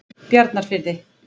Bjarnarfirði